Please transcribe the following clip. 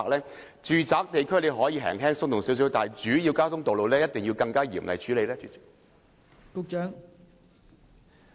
我認為住宅區執法可以較為寬鬆，但在主要交通道路一定要嚴厲處理。